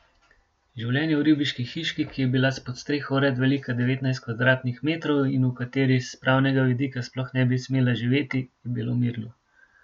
Življenje v ribiški hiški, ki je bila s podstreho vred velika devetnajst kvadratnih metrov in v kateri s pravnega vidika sploh ne bi smela živeti, je bilo mirno.